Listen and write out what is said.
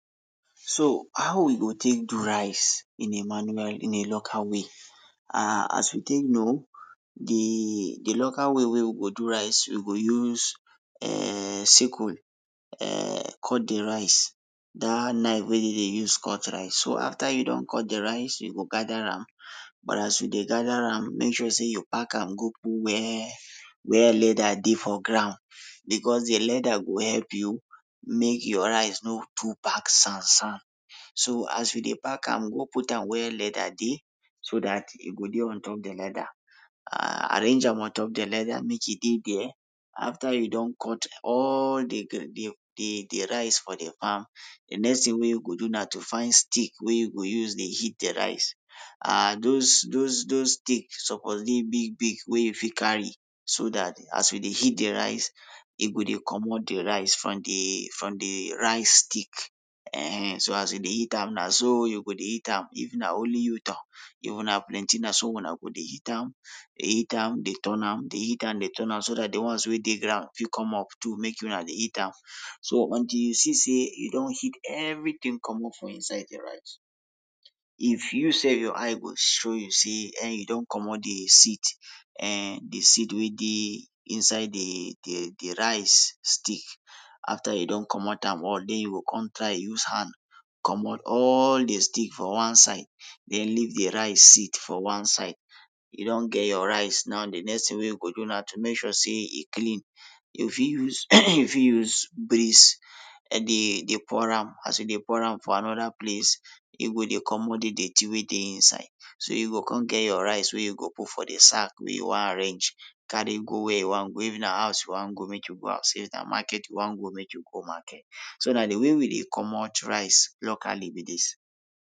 So how we go take do rice in a manual, in a local way? um as you take know, de local way wey we go do rice we go use, um sickle, um cut de rice, dat knife wey dey dey use cut tice, so after you don cut rice, you go gada am, but as you dey gada am make sure sey you pack am go put wia, wia leda dey for ground, becos de leda go help you make your rice no too pack sand sand. So as you dey pack am go put am for wia leda dey so dat e go dey ontop de leda aah arrange am ontop der let dem make e dey der. After you don cut all de de de rice for de farm, de next tin wey you go do na to find stick wey you go use dey hit de rice aah dos dos dos stick suppose dey big big wey you fit carry so dat as you dey hit de rice, e go dey comot de rice from de from de rice stick. [ehen], so as you dey hit am na so you go dey hit am if na only tou, toh! If una plenty na so una go dey hit am, dey hit am, dey turn am, dey hit am, dey turn am, so dat de ones wey dey ground fit come up too make una dey hit am. So until you see sey you don hit everytin comot for inside de rice, if you sef your eyes go show you sey um you don comot de seed, um de seed wey dey inside de de rice stick. After you don comot am all, den you go kon try use hand, comot all de stick for one side, den leave de rice seed for one side, e don get your rice, now de next tin to do na to make sure sey e clean, you fit use you fit use dey pour am, as you dey pour am for anoda place, e go dey comot de dirty wey dey inside. So you go kon get your rice wey you go put for de sand wey you wan arrange, carry go wey you wan go, if na house wey you wan go, make you go am sef, if na market you wan go, make you go market. So na de way we dey comot rice locally be dis.